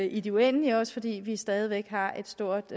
i det uendelige også fordi vi stadig væk har et stort